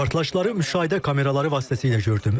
Partlayışları müşahidə kameraları vasitəsilə gördüm.